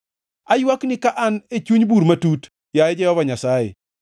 Aywakni ka an e chuny bur matut, yaye Jehova Nyasaye,